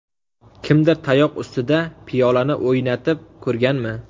Kimdir tayoq ustida piyolani o‘ynatib ko‘rganmi?